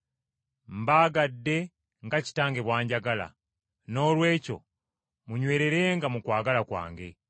“Mbaagadde nga Kitange bw’anjagala. Noolwekyo munywererenga mu kwagala kwange.